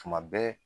Tuma bɛɛ